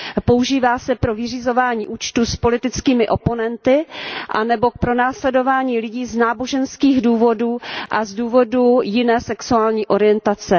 Používá se pro vyřizování účtů s politickými oponenty anebo k pronásledování lidí z náboženských důvodů a z důvodů jiné sexuální orientace.